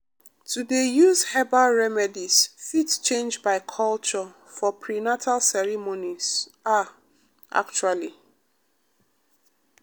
to dey use herbal remedies fit change by culture for prenatal ceremonies ah actually.